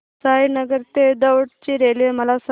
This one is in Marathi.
साईनगर ते दौंड ची रेल्वे मला सांग